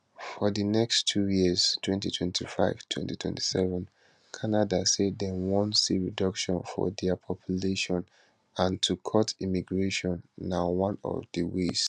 for di next two years 20252027 canada say dem wan see reduction for dia population and to cut immigration na one of di ways